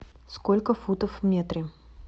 сколько футов в метре